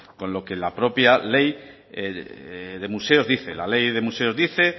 con lo que la propia ley de museos dice la ley de museos dice